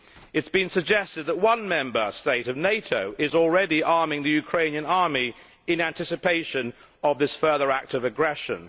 It has been suggested that one Member State of NATO is already arming the Ukrainian army in anticipation of this further act of aggression.